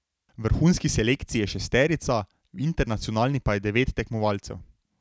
V vrhunski selekciji je šesterica, v internacionalni pa je devet tekmovalcev.